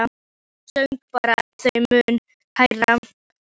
Hann söng bara þeim mun hærra.